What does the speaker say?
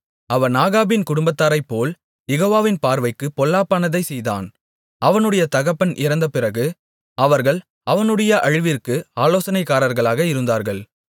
அவன் ஆகாபின் குடும்பத்தாரைப்போல் யெகோவாவின் பார்வைக்குப் பொல்லாப்பானதைச் செய்தான் அவனுடைய தகப்பன் இறந்தபிறகு அவர்கள் அவனுடைய அழிவிற்கு ஆலோசனைக்காரர்களாக இருந்தார்கள்